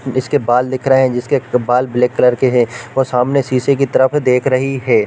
इसके बाल दिख रहे है जिसके बाल ब्लैक कलर के है और सामने शीशे की तरफ देख रही हैं ।